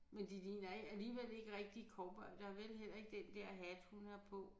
Men de ligner ikke alligevel ikke rigtige cowboydere vel heller ikke den der hat hun har på